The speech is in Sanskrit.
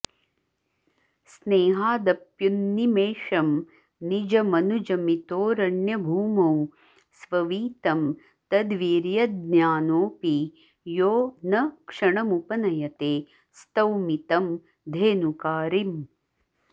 स्नेहादप्युन्निमेषं निजमनुजमितोऽरण्यभूमौ स्ववीतं तद्वीर्यज्ञोऽपि यो न क्षणमुपनयते स्तौमि तं धेनुकारिम्